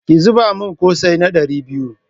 Ki zuba min ƙosai na ɗari biyu